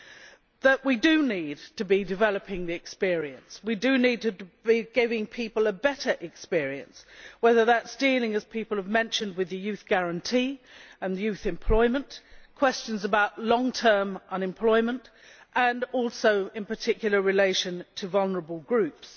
namely that we do need to be developing the experience and to be giving people a better experience, whether that is dealing as people have mentioned with the Youth Guarantee and youth employment or questions about long term unemployment and also particularly in relation to vulnerable groups.